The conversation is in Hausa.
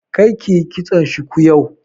Kar kiyi kitson shuku yau!